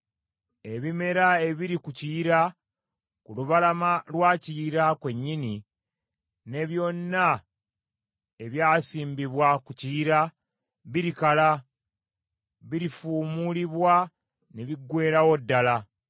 Ebimera ebiri ku Kiyira, ku lubalama lwa Kiyira kwennyini, ne byonna ebyasimbibwa ku Kiyira, birikala, birifuumuulibwa ne biggweerawo ddala.